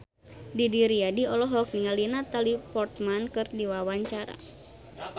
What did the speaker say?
Didi Riyadi olohok ningali Natalie Portman keur diwawancara